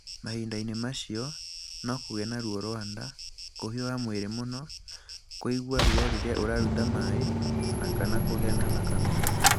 Mahinda-inĩ macio, no kũgĩe na ruo rwa nda, kũhiũha mwĩrĩ mũno, kũigua ruo rĩrĩa ũraruta maĩ na/ kana kũgĩa na thakame.